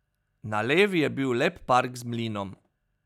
Na levi je bil lep park z mlinom.